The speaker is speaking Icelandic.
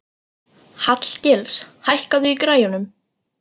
Hallgils, hækkaðu í græjunum.